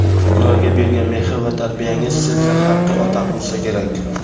ularga bergan mehr va tarbiyangiz sizni haqiqiy ota qilsa kerak.